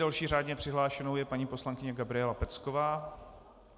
Další řádně přihlášenou je paní poslankyně Gabriela Pecková.